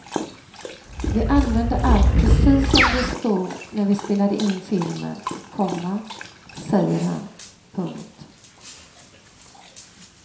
Vi använde allt precis som det stod när vi spelade in filmen, komma säger han. punkt